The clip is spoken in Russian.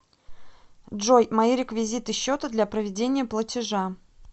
джой мои реквизиты счета для проведения платежа